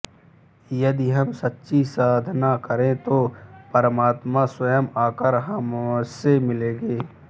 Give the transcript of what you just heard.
यदि हम सच्ची साधना करें तो परमात्मा स्वयं आकर हमसे मिलेंगे